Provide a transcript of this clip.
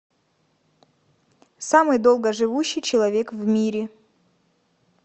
самый долгоживущий человек в мире